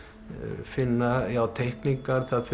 finna teikningar það